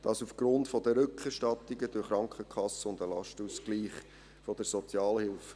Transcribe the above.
Dies aufgrund der Rückerstattungen durch die Krankenkassen und den Lastenausgleich der Sozialhilfe.